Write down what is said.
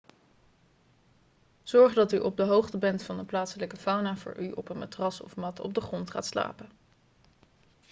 zorg dat u op de hoogte bent van de plaatselijke fauna voor u op een matras of mat op de grond gaat slapen